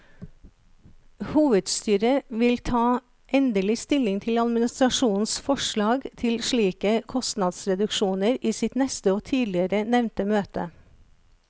Hovedstyret vil ta endelig stilling til administrasjonens forslag til slike kostnadsreduksjoner i sitt neste og tidligere nevnte møte.